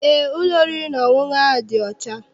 Eé, ụlọ oriri na ọṅụṅụ ahụ dị ọcha.